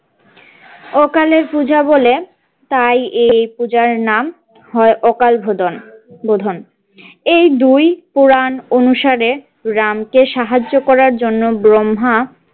অকালের পূজা বলে তাই এই পূজার নাম হয় অকাল বোধন বোধন এই দুই পুরান অনুসারে রামকে সাহায্য করার জন্য ব্রহ্মা।